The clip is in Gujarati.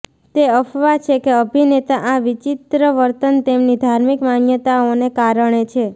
તે અફવા છે કે અભિનેતા આ વિચિત્ર વર્તન તેમની ધાર્મિક માન્યતાઓને કારણે છે